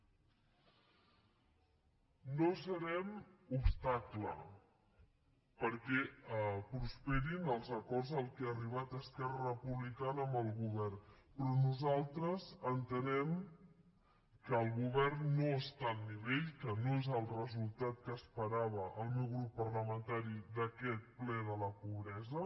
no serem obstacle perquè prosperin els acords a què ha arribat esquerra republicana amb el govern però nosaltres entenem que el govern no està al nivell que no és el resultat que esperava el meu grup parlamentari d’aquest ple de la pobresa